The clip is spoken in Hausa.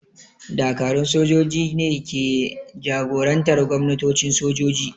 Dakarun sojoji ne ke jagorantar gwamnatocin sojoji.